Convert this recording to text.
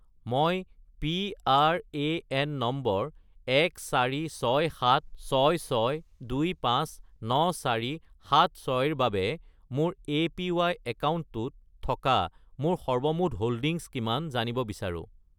মই PRAN number 146766259476 ৰ মোৰ এপিৱাই একাউণ্টটোত থকা মোৰ সৰ্বমুঠ হোল্ডিংছ কিমান জানিব বিচাৰোঁ